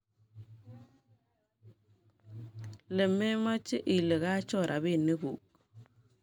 Iit mameche ile koachor robink kuk